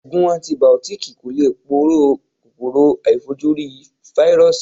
Ògùn antìbìótíkì kò lè poró kòkòrò aàìfojúrí Fáírọ́sì.